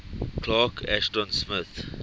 clark ashton smith